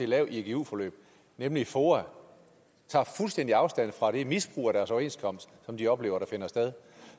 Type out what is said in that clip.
lave et igu forløb nemlig foa tager fuldstændig afstand fra det misbrug af deres overenskomst som de oplever at der finder sted